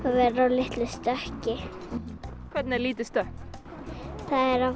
litlu stökki hvernig er lítið stökk það er að